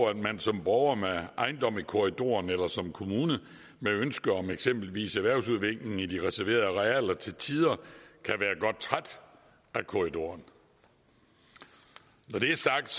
at man som borger med ejendom i korridoren eller som kommune med ønske om eksempelvis erhvervsudvikling i de reserverede arealer til tider kan være godt træt af korridoren når det er sagt